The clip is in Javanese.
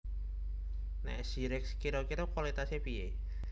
Nek Zyrex kiro kiro kualitase piye?